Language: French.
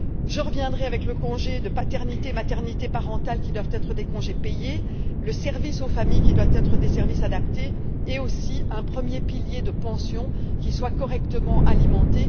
Je reviendrai sur le congé de paternité et maternité parental, qui doivent être des congés payés, les services aux familles, qui doivent être des services adaptés, et aussi un premier pilier de pension qui doit être correctement alimenté.